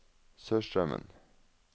Sørstraumen